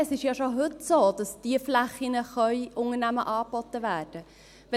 Es ist ja schon heute so, dass diese Flächen Unternehmen angeboten werden können.